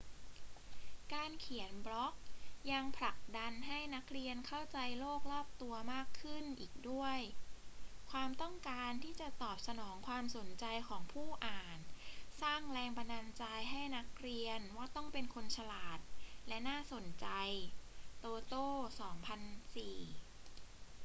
การเขียนบล็อกยัง ผลักดันให้นักเรียนเข้าใจโลกรอบตัวมากขึ้น อีกด้วย ความต้องการที่จะตอบสนองความสนใจของผู้อ่านสร้างแรงบันดาลใจให้นักเรียนว่าต้องเป็นคนฉลาดและน่าสนใจ toto 2004